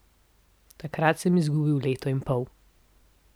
Takrat sem izgubil leto in pol.